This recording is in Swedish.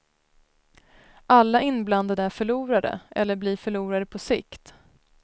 Alla inblandade är förlorare, eller blir förlorare på sikt.